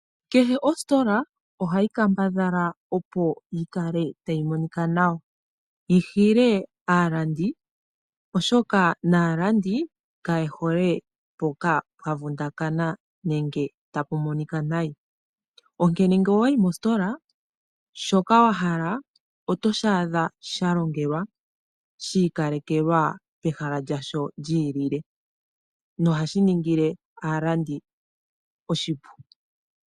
Kehe ositola ohayi kambadhala opo yikale tayi monika nawa, yihile aalandi oshoka naalandi kayehole mpoka pwa vundakana nenge tapu monika nayi, ngele owayi mositola shoka wahala oto shaadha shalongelwa hii kalekelwa pehala lyasho lyiilile nohashi ningile aalandi oshipu.